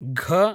ग